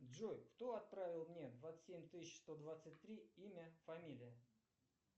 джой кто отправил мне двадцать семь тысяч сто двадцать три имя фамилия